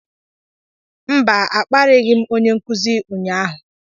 mba, a kparịghị m onye nkuzi ụnyaahụ